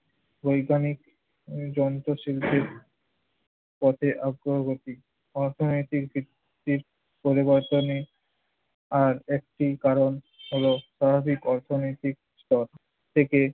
বৈজ্ঞানিক যন্ত্রশিল্পের পথে অগ্রগতি। অর্থনৈতিক ভিত্তির পরিবর্তনে আর একটি কারণ হলো স্বাভাবিক অর্থনৈতিক স্তর থেকে